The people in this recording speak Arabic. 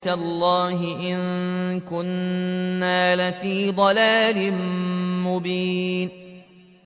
تَاللَّهِ إِن كُنَّا لَفِي ضَلَالٍ مُّبِينٍ